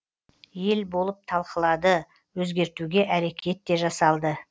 ел болып талқылады өзгертуге әрекет те жасалды